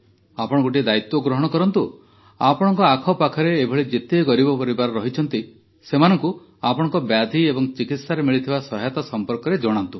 ଆପଣ ଗୋଟିଏ ଦାୟିତ୍ୱ ଗ୍ରହଣ କରନ୍ତୁ ଆପଣଙ୍କ ଆଖପାଖରେ ଏଭଳି ଯେତେ ଗରିବ ପରିବାର ଅଛନ୍ତି ସେମାନଙ୍କୁ ଆପଣଙ୍କ ବ୍ୟାଧି ଏବଂ ଚିକିତ୍ସାରେ ମିଳିଥିବା ସହାୟତା ସମ୍ପର୍କରେ ଜଣାନ୍ତୁ